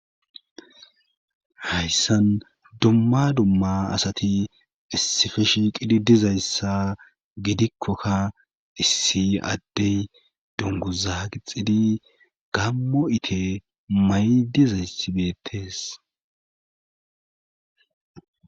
hayssan dumma dumma asati issife shiiqidi dizayssa gidikkokka issi addey donguza qixidi gammo ite may dizayssi betes